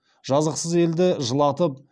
жазықсыз елді жылатып